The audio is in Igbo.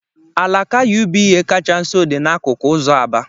Alaka UBA kacha nso dị n'akụkụ ụzọ Aba.